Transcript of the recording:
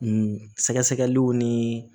sɛgɛsɛgɛliw ni